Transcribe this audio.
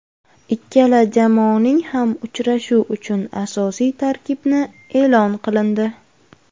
Ikkala jamoaning ham uchrashuv uchun asosiy tarkibni e’lon qilindi.